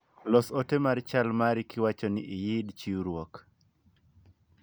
los ote mar chal mari kiwacho ni iyid chiwruok